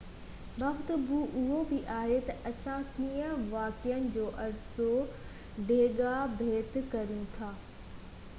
وقت اهو بہ آهي تہ اسان ڪيئن واقعن جو عرصو ڊيگهہ ڀيٽ ڪريون ٿا